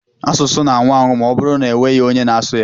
Asụsụ na-anwụ anwụ ma ọbụrụ na-enweghị onye na-asụ ya.